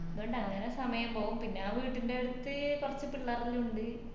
അത്കൊണ്ട് അങ്ങനെ സമയം പോകും പിന്നെ വീട്ടിൻഡടുത്ത് കൊർച് പിള്ളറെലിണ്ട്